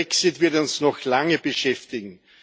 Dieser Brexit wird uns noch lange beschäftigen.